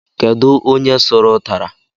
Kedu onye suru utara?